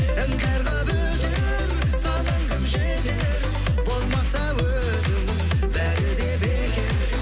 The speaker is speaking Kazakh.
іңкәр қылып өтер саған кім жетер болмаса өзің бәрі де бекер